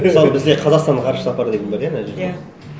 мысалы бізде қазақстанның ғарыш сапары деген бар иә мына жерде иә